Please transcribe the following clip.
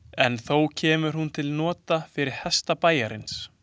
En þó kemur hún til nota fyrir hesta bæjarins.